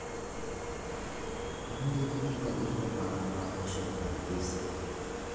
Mondiki gi jandiko marwa, Worshington DC